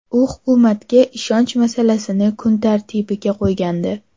U hukumatga ishonch masalasini kun tartibiga qo‘ygandi.